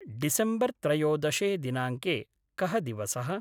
डिसेम्बर्त्रयोदशे दिनाङ्के कः दिवसः?